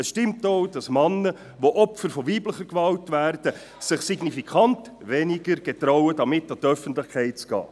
Es stimmt auch, dass sich Männer, die Opfer weiblicher Gewalt werden, signifikant seltener trauen, damit an die Öffentlichkeit zu gehen.